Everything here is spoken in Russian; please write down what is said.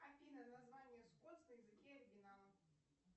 афина название скотс на языке оригинала